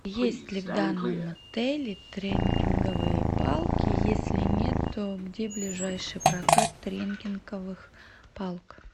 есть ли в данном отеле треккинговые палки если нет то где ближайший прокат треккинговых палок